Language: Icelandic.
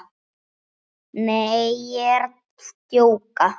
Nei, ég er að djóka.